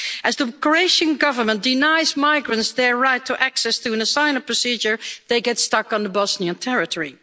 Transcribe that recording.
As the Croatian Government denies migrants their right to access to an asylum procedure, they get stuck on Bosnian territory.